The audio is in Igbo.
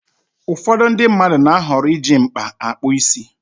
Ụfọdụ ndị mmadụ na-ahọrọ iji mkpa akpụ isi.